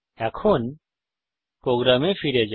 এখন প্রোগ্রামে ফিরে যাই